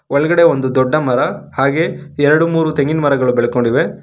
ಒಳಗಡೆ ಒಂದು ದೊಡ್ಡ ಮರ ಹಾಗೆ ಎರಡು ಮೂರು ತೆಂಗಿನ ಮರಗಳು ಬೆಳ್ಕೊಂಡಿವೆ.